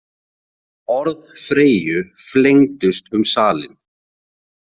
Orð Freyju flengdust um salinn.